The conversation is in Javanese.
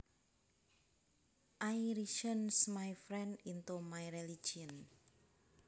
I reasoned my friend into my religion